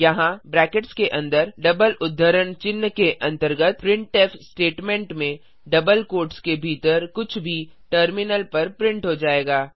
यहाँ ब्रैकेट्स के अन्दर डबल उद्धरण चिह्न के अंतर्गत प्रिंटफ स्टेटमेंट में डबल क्वोट्स के भीतर कुछ भी टर्मिनल पर प्रिंट हो जाएगा